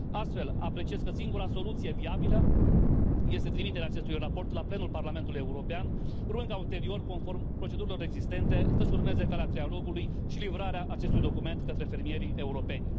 Astfel, apreciez că singura soluție viabilă este trimiterea acestui raport în plenul Parlamentului European, urmând ca ulterior, conform procedurilor existente, să urmeze calea trialogului și livrarea acestui document către fermierii europeni.